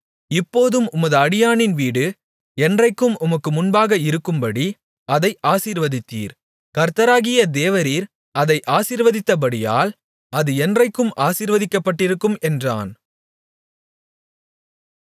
இப்போதும் உமது அடியானின் வீடு என்றைக்கும் உமக்கு முன்பாக இருக்கும்படி அதை ஆசீர்வதித்தீர் கர்த்தராகிய தேவரீர் அதை ஆசீர்வதித்தபடியால் அது என்றைக்கும் ஆசீர்வதிக்கப்பட்டிருக்கும் என்றான்